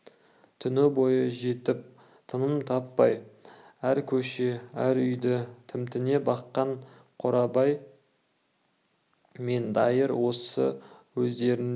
түні бойы жетіп тыным таппай әр көше әр үйді тімтіне баққан қорабай мен дайыр осы өздеріне